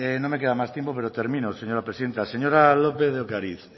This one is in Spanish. no me queda más tiempo pero termino señora presidenta señora lópez de ocariz